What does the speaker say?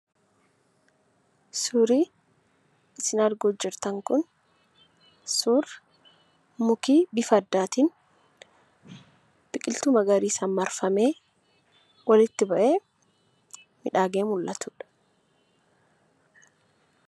Suurri isin arguutti jirtan kun suuraa mukti bifa addaatiin biqiltuu magariisaan marfamee walitti bahee miidhagee mul'atudha.